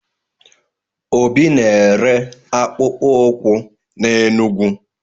Obi na-ere akpụko ụkwụ n'Enugwu.